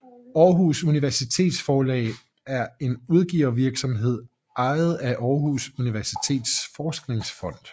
Aarhus Universitetsforlag er en udgivervirksomhed ejet af Aarhus Universitets Forskningsfond